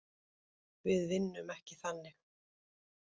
Við vinnum ekki þannig.